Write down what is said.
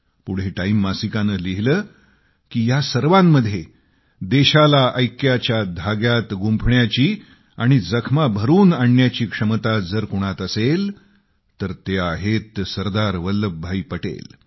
पुढे टाईम मासिकानं लिहिलं की या सर्वांमध्ये देशाला ऐक्याच्या धाग्यात गुंफण्याची आणि जखमा भरून आणण्याची क्षमता जर कुणात असेल तर ते आहेत सरदार वल्लभभाई पटेल